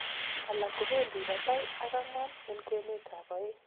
alak kobendi batai ak angwan en kwenet ab oeng